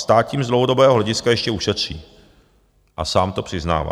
Stát tím z dlouhodobého hlediska ještě ušetří a sám to přiznává.